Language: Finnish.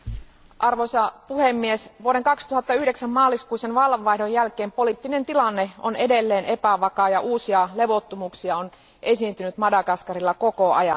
Arvoisa puhemies, vuoden 2009 maaliskuisen vallanvaihdon jälkeen poliittinen tilanne on edelleen epävakaa ja uusia levottomuuksia on esiintynyt Madagaskarilla koko ajan.